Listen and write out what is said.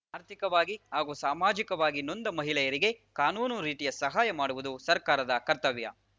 ಆರ್ಥಿಕವಾಗಿ ಹಾಗೂ ಸಾಮಾಜಿಕವಾಗಿ ನೊಂದ ಮಹಿಳೆಯರಿಗೆ ಕಾನೂನು ರೀತಿಯ ಸಹಾಯ ಮಾಡುವುದು ಸರ್ಕಾರದ ಕರ್ತವ್ಯ